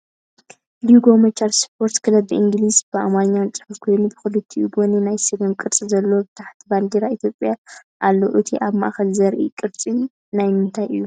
ሎጎ መቻል ስፖርት ክለብ ብኢንግሊዝን ብኣማርኛን ፅሑፍ ኮይኑ ብክልቲኡ ጎኒ ናይ ስገም ቅርፂ ዘለዎ ብታሕቱ ባንዴራ ኢትዮጵያ ኣለዎ። እቲ ኣብ ማእከል ዘሊ ቅርፂ ናይ ምንታይ እዩ ?